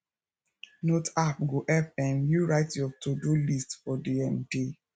note app go help um you write your todo list for di um day